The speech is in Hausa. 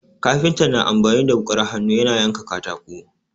Kafinta na amfani da wuƙar hannu yana yanka katako.